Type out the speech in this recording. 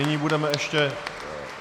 Nyní budeme ještě...